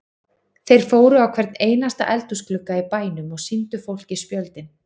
Þeir fóru á hvern einasta eldhúsglugga í bænum og sýndu fólki spjöldin.